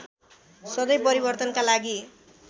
सधैँ परिवर्तनका लागि